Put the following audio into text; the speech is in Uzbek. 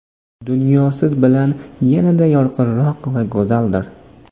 Dunyo siz bilan yanada yorqinroq va go‘zaldir.